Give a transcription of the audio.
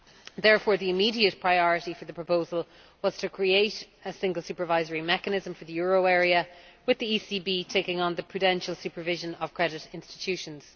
Therefore, the immediate priority for the proposal was to create a Single Supervisory Mechanism for the euro area, with the ECB taking on the prudential supervision of credit institutions.